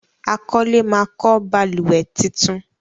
àkọlé má kọ balùwẹ̀ títún.